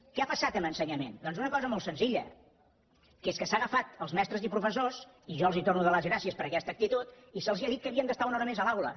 què ha passat amb ensenyament doncs una cosa molt senzilla que és que s’han agafat els mestres i professors i jo els torno a dar les gràcies per aquesta actitud i se’ls ha dit que havien d’estar una hora més a l’aula